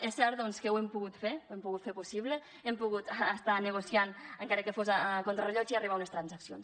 és cert doncs que ho hem pogut fer ho hem pogut fer possible hem pogut estar negociant encara que fos contrarellotge i arribar a unes transaccions